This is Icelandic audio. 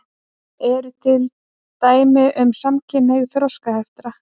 Eru til dæmi um samkynhneigð þroskaheftra?